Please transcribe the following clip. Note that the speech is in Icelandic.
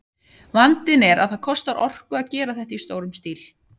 Vandinn er að það kostar orku að gera þetta í stórum stíl.